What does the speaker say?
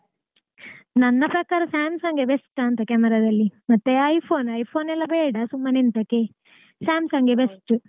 ನನ್ನ ಪ್ರಕಾರ Samsung ಏ best ಆ ಅಂತ camera ದಲ್ಲಿ ಮತ್ತೆ iPhone iPhone ಎಲ್ಲ ಬೇಡ ಸುಮ್ಮನೆಂತಕೆ. Samsung ಎ best.